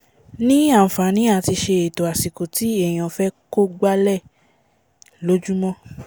ní ànfàní àti ṣe ẹ̀tò àsìkò tí èèyàn fẹ́ kó gbálẹ̀ lójúmọ́